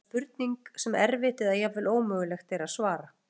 þetta er eiginlega spurning sem erfitt eða jafnvel ómögulegt er að svara